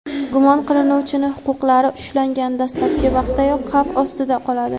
gumon qilinuvchining huquqlari ushlangan dastlabki vaqtdayoq xavf ostida qoladi.